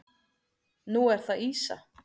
Nú er það ýsa.